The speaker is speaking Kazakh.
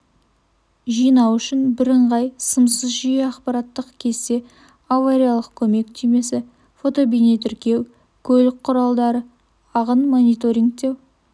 жинау үшін бірыңғай сымсыз жүйе ақпараттық кесте авариялық көмек түймесі фотобейнетіркеу көлік құралдары ағынын мониторингтеу